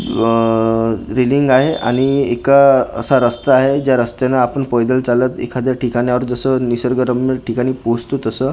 अअअ railing आहे आणि एक अ असा रस्ता आहे ज्या रस्त्यानं आपण पैदल चालत एखाद्या ठिकाण्यावर जसं निसर्गरम्य ठिकाणी पोहोचतो तसं --